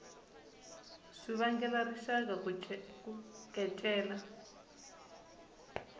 swi vangela rixaka ku kecela